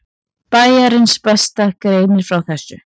Bæjarins besta greinir frá þessu.